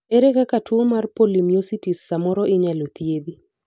ere kaka tuo mar polymyositis samoro inyalo thiedhi